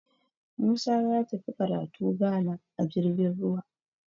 Musa ya tafi karatu Ghana a jirgin ruwa